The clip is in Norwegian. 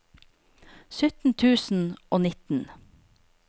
sytten tusen og nitten